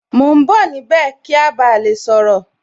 Mo ń bọ̀ níbẹ̀ kí a ba lè sọ̀rọ̀